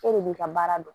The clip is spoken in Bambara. E de b'i ka baara dɔn